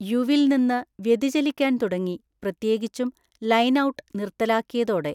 യുവിൽ നിന്ന് വ്യതിചലിക്കാൻ തുടങ്ങി, പ്രത്യേകിച്ചും ലൈൻ ഔട്ട് നിർത്തലാക്കിയതോടെ.